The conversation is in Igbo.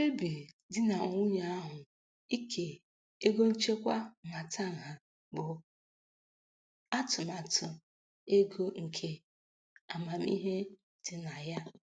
Mkpebi di na nwunye ahụ ike ego nchekwa nhatanha bụ atụmatụ ego nke amamihe dị na ya.